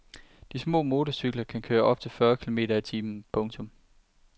De små motorcykler kan køre op til fyrre kilometer i timen. punktum